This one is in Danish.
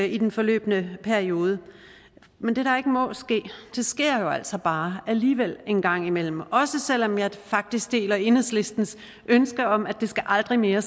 i den forløbne periode men det der ikke må ske sker jo altså bare alligevel en gang imellem selv om jeg faktisk deler enhedslistens ønske om at det aldrig mere